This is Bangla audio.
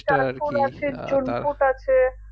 আছে